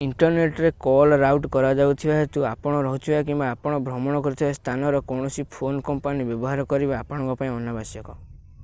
ଇଣ୍ଟରନେଟରେ call route କରାଯାଉଥିବା ହେତୁ ଆପଣ ରହୁଥିବା କିମ୍ବା ଆପଣ ଭ୍ରମଣ କରୁଥିବା ସ୍ଥାନର କୌଣସି ଫୋନ୍ କମ୍ପାନୀ ବ୍ୟବହାର କରିବା ଆପଣଙ୍କ ପାଇଁ ଅନାବଶ୍ୟକ